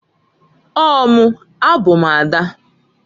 Ọọ mụǃ A bụ m ada.